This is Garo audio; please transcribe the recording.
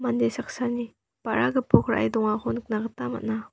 mande saksani ba·ra gipok ra·e dongako nikna gita man·a.